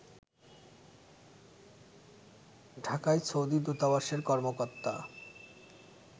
ঢাকায় সৌদি দূতাবাসের কর্মকর্তা